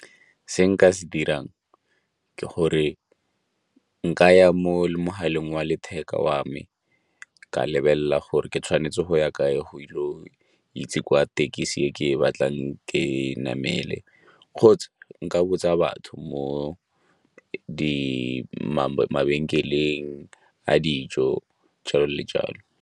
Se nka se dirang ke gore nkaya mo mogaleng wa letheka wa me ka lebelela gore ke tshwanetse go ya kae go ile itse kwa tekisi e ke e batlang ke namele kgotsa nka botsa batho mo mabenkeleng a dijo, jalo le jalo.